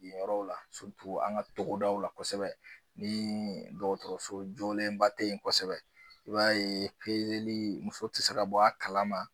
Yɔrɔ la an ka togodaw la kosɛbɛ ni dɔgɔtɔrɔso joolenba tɛ ye kosɛbɛ i b'a pezeli muso tɛ se ka bɔ a kalama.